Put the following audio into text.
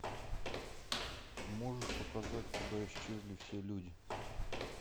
можешь показать куда исчезли все люди